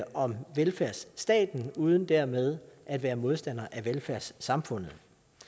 om velfærdsstaten uden dermed at være modstandere af velfærdssamfundet